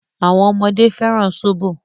Àwọn ọmọdé fẹ́ràn sóbò.